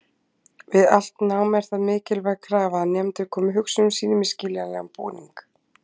Við allt nám er það mikilvæg krafa að nemendur komi hugsunum sínum í skiljanlegan búning.